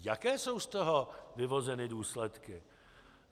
Jaké jsou z toho vyvozeny důsledky?